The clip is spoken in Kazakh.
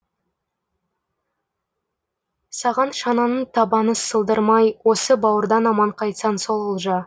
саған шананың табаны сыдырылмай осы бауырдан аман қайтсаң сол олжа